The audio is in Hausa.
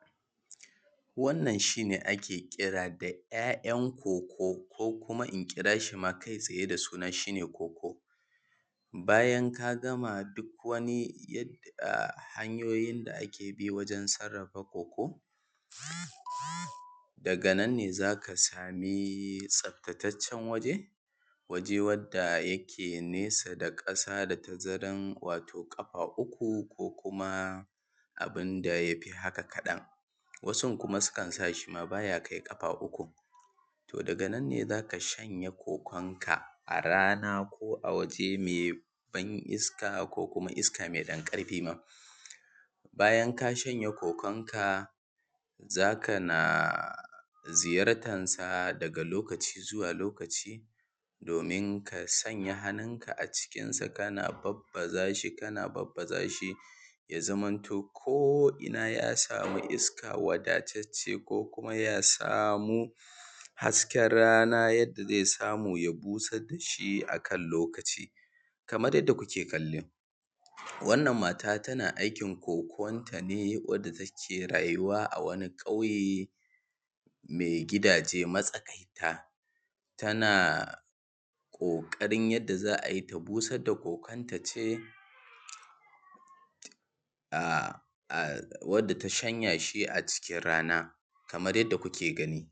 Wannan shi ne ake kira da ‘ya’yan ko:ko:, ko kuma in kira shi kai-tsaye da suna shi ne ko:ko:. Bayan ka gama duk wani yadda hanyoyin da ake bi wajen sarrafa ko:ko:, daga nan ne za ka sami tsaftataccen waje, waje wadda yake nesa da ƙasa, da tazaran wato ƙafa uku, ko kuma abin da ya fi haka kaɗan. Wasun kuma sukan sa shi ba ya kai ƙafa ukun. To, daga nan ne za ka shanya ko:ko:nka a rana, ko a waje mai ban iska, ko kuma iska mai ɗan ƙarfi ma. bayan ka shanya ko:ko:nka, za ka na ziyartansa daga lokaci zuwa lokaci, domin ka sanya hannunka a cikinsa, kana babbaza shi, kana babbaza shi, ya zamanto ko’ina ya samu iska, waddatacce, ko kuma ya samu hasken rana, wanda ze samu ya busar da shi akan lokaci. Kamar yadda kuke kallo, wannan mata tana aikin ko:ko:nta ne, wadda take rayuwa a wani ƙauye mai gidaje matsaƙaita. Tana ƙoƙarin za a yi ta busar da ko:ko:nta ce wanda ta shanya shi dai a cikin rana, kamar yadda kuke gani.